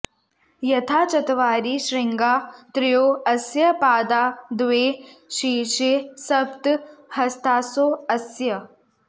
यथा चत्वारि शृङ्गा त्रयो अस्य पादा द्वे शीर्षे सप्त हस्तासो अस्य